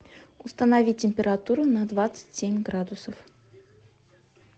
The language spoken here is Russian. установи температуру на двадцать семь градусов